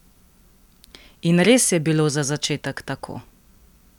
In res je bilo za začetek tako!